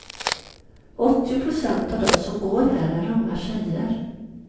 Åttio procent av de som går här är unga tjejer.